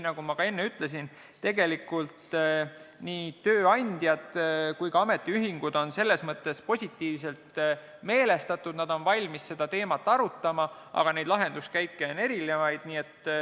Nagu ma enne ütlesin, tegelikult on nii tööandjad kui ka ametiühingud selles mõttes positiivselt meelestatud, nad on valmis seda teemat arutama, aga neid lahenduskäike on erinevaid.